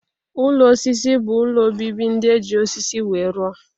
Ụlọ osisi bụ ụlọ obibi ndị e ji osisi wee rụọ.